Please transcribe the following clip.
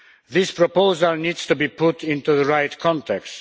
This proposal needs to be put into the right context.